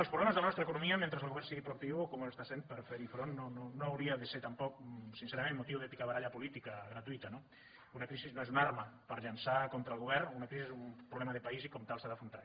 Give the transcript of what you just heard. els problemes de la nostra economia mentre el govern sigui proactiu com ho està fent per fer hi front no hauria de ser tampoc sincerament motiu de picabaralla política gratuïta no una crisi no és una arma per llançar contra el govern una crisi és un problema de país i com a tal s’ha d’afrontar